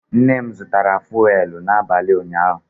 Nne m zụtara fụ́élú n'abalị ụnyaahụ